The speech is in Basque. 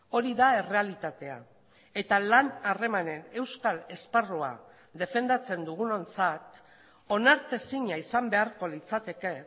hori da errealitatea eta lan harremanen euskal esparrua defendatzen dugunontzat onartezina izan beharko litzateke